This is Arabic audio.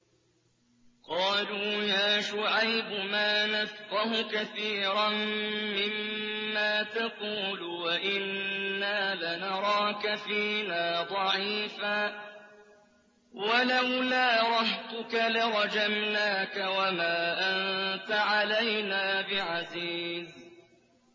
قَالُوا يَا شُعَيْبُ مَا نَفْقَهُ كَثِيرًا مِّمَّا تَقُولُ وَإِنَّا لَنَرَاكَ فِينَا ضَعِيفًا ۖ وَلَوْلَا رَهْطُكَ لَرَجَمْنَاكَ ۖ وَمَا أَنتَ عَلَيْنَا بِعَزِيزٍ